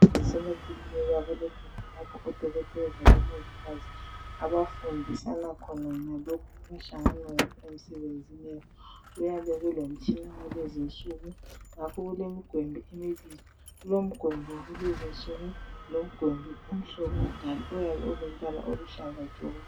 Ezibhedlela lasemaklinika Kulegumbi lapha odokotela labomongikazi abafundisana khona ngalokho abahlangana lakho emsebenzini wabo kuyabe kulemitshina yalezinsuku ngakho kuyabe kulemigwembi emibili, kulemigwembi yalezinsuku lemigwembi umhlobo wakudala elombala oluhlaza tshoko